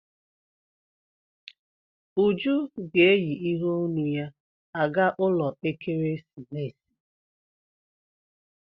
Uju ga-eyi iheonu ya aga ụlọ ekeresimesi